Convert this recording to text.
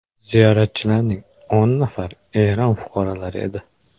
Ziyoratchilarning o‘n nafari Eron fuqarolari edi.